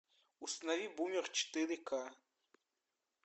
установи бумер четыре ка